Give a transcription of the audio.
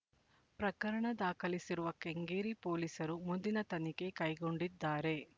ಪ್ರಕರಣ ದಾಖಲಿಸಿರುವ ಕೆಂಗೇರಿ ಪೊಲೀಸರು ಮುಂದಿನ ತನಿಖೆ ಕೈಗೊಂಡಿದ್ದಾರೆ